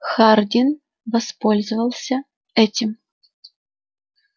хардин воспользовался этим